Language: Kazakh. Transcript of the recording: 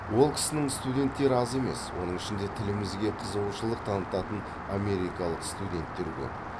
ол кісінің студенттері аз емес оның ішінде тілімізге қызығушылық танытатын америкалық студенттер көп